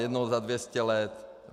Jednou za 200 let.